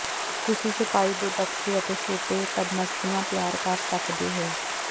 ਤੁਸੀਂ ਛਪਾਈ ਦੇ ਬਕਸੇ ਅਤੇ ਛੋਟੇ ਪਦਮਸੀਆਂ ਤਿਆਰ ਕਰ ਸਕਦੇ ਹੋ